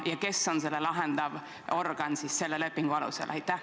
Ja kes on selle lepingu alusel siis see lahendav organ?